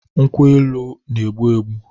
Nkwu-elu n'egbu -egbu